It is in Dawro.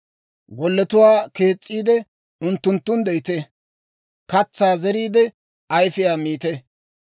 golletuwaa kees's'iide, unttunttun de'ite. Katsaa zeriide, ayifiyaa miite.